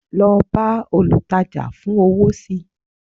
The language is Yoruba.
lọ bá olùtajà fún owó sí